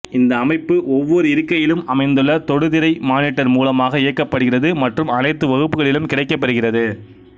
இந்த அமைப்பு ஒவ்வொரு இருக்கையிலும் அமைந்துள்ள தொடுதிரை மானிட்டர் மூலமாக இயக்கப்படுகிறது மற்றும் அனைத்து வகுப்புக்களிலும் கிடைக்கப் பெறுகிறது